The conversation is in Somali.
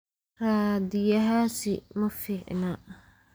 Raadiyahaasi ma fiicna.